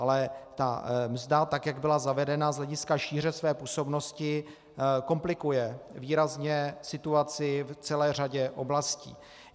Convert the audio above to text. Ale ta mzda, tak jak byla zavedena z hlediska šíře své působnosti, komplikuje výrazně situaci v celé řadě oblastí.